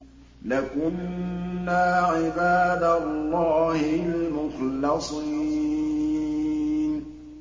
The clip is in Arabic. لَكُنَّا عِبَادَ اللَّهِ الْمُخْلَصِينَ